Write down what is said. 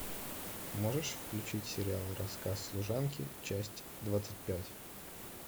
можешь включить сериал рассказ служанки часть двадцать пять